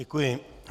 Děkuji.